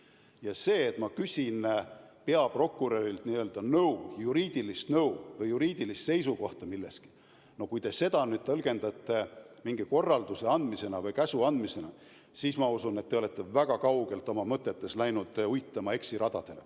Ja see, et ma küsin peaprokurörilt nõu, juriidilist nõu, juriidilist seisukohta millegi kohta – no kui te seda tõlgendate mingi korralduse andmisena või käsu andmisena, siis ma usun, et te olete oma mõtetega väga kaugetele eksiradadele uitama läinud.